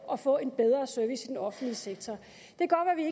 og få en bedre service i den offentlige sektor